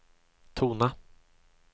tona